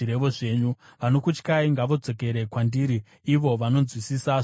Vanokutyai ngavadzokere kwandiri, ivo vanonzwisisa zvamakatema.